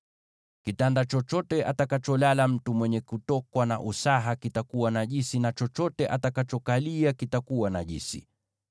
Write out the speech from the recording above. “ ‘Kitanda chochote atakacholalia mtu mwenye kutokwa na usaha kitakuwa najisi, na chochote atakachokalia kitakuwa najisi.